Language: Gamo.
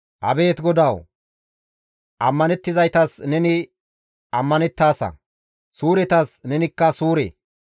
Abeet GODAWU! Ammanettizaytas neni ammanettaasa; suuretas neni suure.